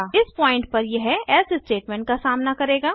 इस पॉइंट पर यह एल्से स्टेटमेंट का सामना करेगा